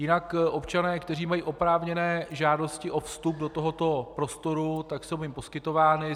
Jinak občané, kteří mají oprávněné žádosti o vstup do tohoto prostoru, tak jsou jim poskytovány.